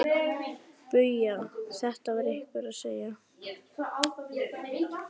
BAUJA: Þetta var einhver að segja.